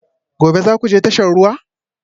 Gobe ​​za ku je tashar ruwa?